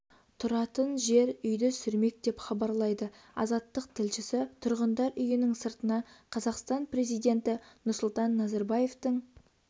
тұратын жер үйді сүрмек деп хабарлайды азаттық тілшісі тұрғындар үйінің сыртына қазақстан президенті нұрсұлтан назарбаевтың